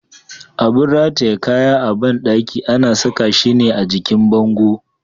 Abun rataye kaya a bandaki ana saka shi ne a jikin bango.